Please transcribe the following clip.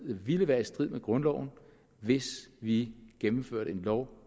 ville være i strid med grundloven hvis vi gennemførte en lov